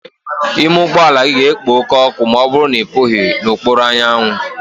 Ime ụgbọ ala gị ga-ekpo oke ọkụ ma ọ bụrụ na ị pụghi n'okpuru anyanwụ.